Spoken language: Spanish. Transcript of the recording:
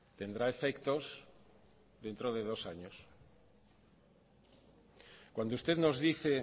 tendrá efectos dentro de dos años cuando usted nos dice